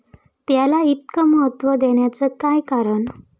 त्याला इतकं महत्त्व देण्याचं काय कारण?